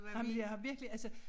Nej men jeg har virkelig altså